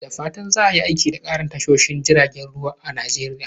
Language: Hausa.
Da fatan za a yi aiki da ƙarin tashoshin jiragen ruwa a Najeriya.